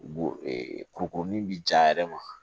Bon kurukuruni bi jan a yɛrɛ ma